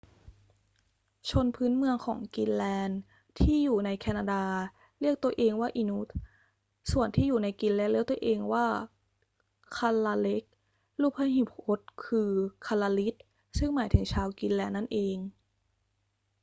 ชนพื้นเมืองของกรีนแลนด์ที่อยู่ในแคนาดาเรียกตัวเองว่า inuit ส่วนที่อยู่ในกรีนแลนด์เรียกตัวเองว่า kalaalleq รูปพหูพจน์คือ kalaallit ซึ่งหมายถึงชาวกรีนแลนด์นั่นเอง